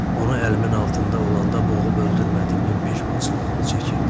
Onu əlimin altında olanda boğub öldürmədiyimin peşmançılığını çəkirdim.